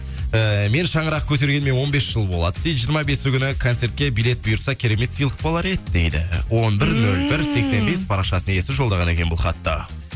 ііі мен шаңырақ көтергеніме он бес жыл болады дейді жиырма бесі күні концертке билет бұйырса керемет сыйлық болар еді дейді он бір нөл бір сексен бес парақшасы иесі жолдаған екен бұл хатты